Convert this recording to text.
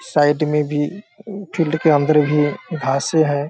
Side में भी field के अंदर भी घासें हैं।